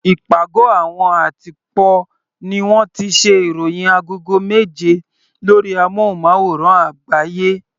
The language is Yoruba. Ìpàgọ́ àwọn àtìpó ní wọ́n ti ṣe ìròhìn agogo méje lórí amúnmáwòrán àgbáyé.